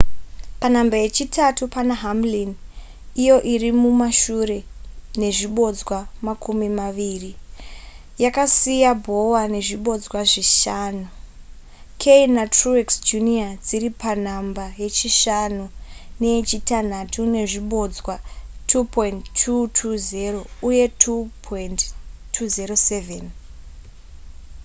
panhamba yechitatu pane hamlin iyo iri mumashure nezvibodzwa makumi maviri yakasiya bowyer nezvibodzwa zvishanu kahne netruex jr dziri panhamba yechishanu neyechitanhatu nezvibodzwa 2,220 uye 2,207